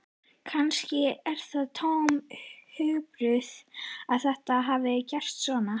Kannski er það tómur hugarburður að þetta hafi gerst svona.